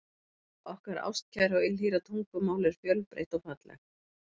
Okkar ástkæra og ylhýra tungumál er fjölbreytt og fallegt.